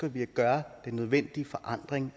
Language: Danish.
at vi gør den nødvendige forandring